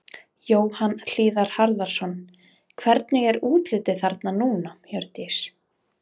Jóhann Hlíðar Harðarson: Hvernig er útlitið þarna núna, Hjördís?